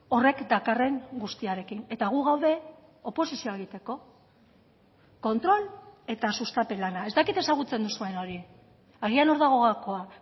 horrek dakarren guztiarekin eta gu gaude oposizioa egiteko kontrol eta sustapen lana ez dakit ezagutzen duzuen hori agian hor dago gakoa